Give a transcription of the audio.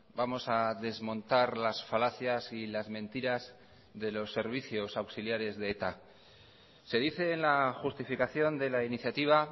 vamos a desmontar las falacias y las mentiras de los servicios auxiliares de eta se dice en la justificación de la iniciativa